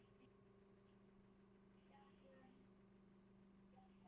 Hrefna Líneik og Jón Orri.